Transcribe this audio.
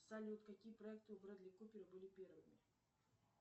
салют какие проекты у брэдли купера были первыми